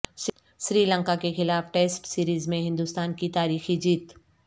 سری لنکا کے خلاف test series میں ہندوستان کی تاریخی جیت